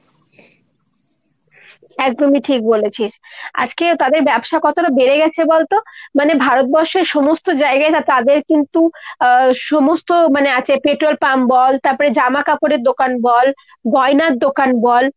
একদমই ঠিক বলেছিস। আজকে তাদের ব্যবসা কতটা বেড়েগেছে বলতো ? মানে ভারতবর্ষের সমস্ত জায়গায় তাদের কিন্তু আহ তাদের কিন্তু সমস্ত আছে মানে petrol pump বল, তারপর জামাকাপড়ের দোকান বল, গয়নার দোকান বল।